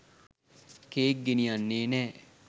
Cake ගෙනියන්නේ නෑ.